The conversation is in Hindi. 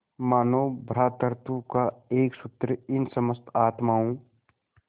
मानों भ्रातृत्व का एक सूत्र इन समस्त आत्माओं